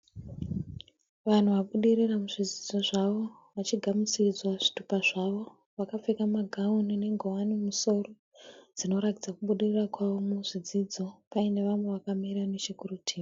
Vanhu vabudirira muzvidzidzo zvavo vachigamuchiridzwa zvitupa zvavo vakapfeka magauni ne nguvani mumusoro dzinoratidza kubudirira kwazvo muzvidzidzo painewamwe vakamira nechekurutivi